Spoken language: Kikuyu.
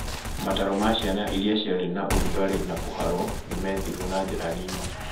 Mataro ma ciana iria ciarĩ na ũrugarĩ na kũharo nĩmethirũo na njĩra nini